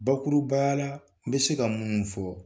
Bakurubaya la n bɛ se ka munnu fɔ